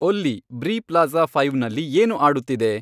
ಒಲ್ಲಿ, Bree Plaza ಫೈವ್ನಲ್ಲಿ ಏನು ಆಡುತ್ತಿದೆ